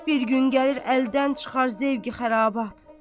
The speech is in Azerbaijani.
Bir gün gəlir əldən çıxar zövqi-xərabat.